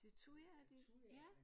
Det thujaer de ja